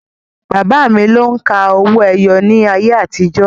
Bàbá mi lo òǹkà owó-ẹyọ ní ayé àtijọ́